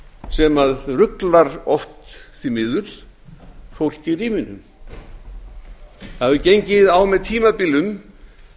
sem ruglar oft því miður fólk í ríminu það hefur gengið á með tímabilum